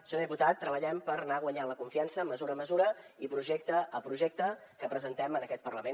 senyor diputat treballem per anar guanyant la confiança mesura a mesura i projecte a projecte que presentem en aquest parlament